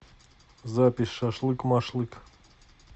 запись шашлык машлык